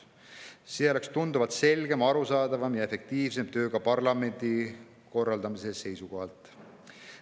See oleks tunduvalt selgem, arusaadavam ja efektiivsem ka parlamendi töö korraldamise seisukohalt.